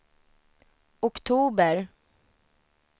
oktober